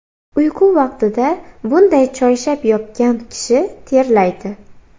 Uyqu vaqtida bunday choyshab yopgan kishi terlaydi.